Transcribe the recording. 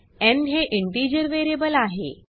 न् हे integer variable आहे